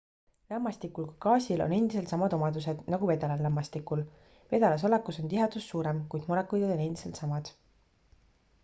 lämmastikul kui gaasil on endiselt samad omadused nagu vedelal lämmastikul vedelas olekus on tihedus suurem kuid molekulid on endiselt samad